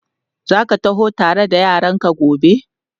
Za ka taho tare da yaranka gobe?